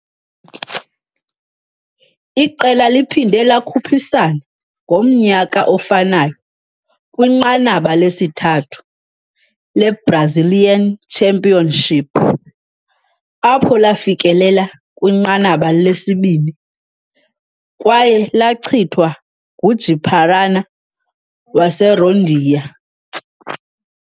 Iqela liphinde lakhuphisana ngomnyaka ofanayo kwiNqanaba lesithathu le-Brazilian Championship, apho lafikelela kwinqanaba lesibini, kwaye lachithwa nguJi -Paraná, waseRondônia.